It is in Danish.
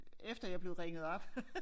Efter jeg blev ringet op